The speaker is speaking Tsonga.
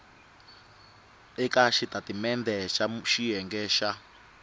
eka xitatimendhe xa xiyenge xa